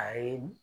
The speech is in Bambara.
A ye